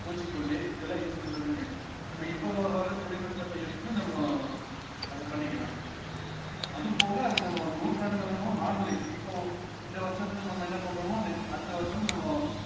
பூச்சிக்கொல்லி இதெல்லாம் use பண்றதுக்கு நம்ப இப்போ வர்ற தொழில்நுட்பத்தை use பண்ணி நம்ம அதை பண்ணிக்கலாம் அதும் போக அது நம்ம நுற்றாண்டுகளாகவும் இப்போ இந்த வர்ஷத்துல நம்ம என்ன பண்றோமோ நெ~ அடுத்த வருஷமும் நம்ம